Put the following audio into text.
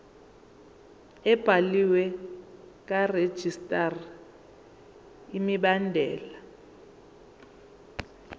ebhaliwe karegistrar imibandela